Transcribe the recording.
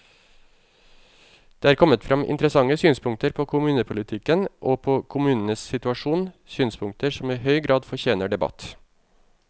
Det er kommet frem interessante synspunkter på kommunepolitikken og på kommunenes situasjon, synspunkter som i høy grad fortjener debatt.